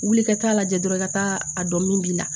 Wuli i ka taa'a lajɛ dɔrɔn i ka taa a dɔn min b'i la